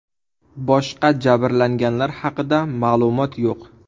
Boshqa jabrlanganlar haqida ma’lumot yo‘q.